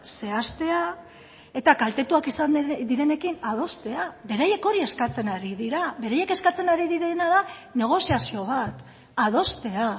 zehaztea eta kaltetuak izan direnekin adostea beraiek hori eskatzen ari dira beraiek eskatzen ari direna da negoziazio bat adostea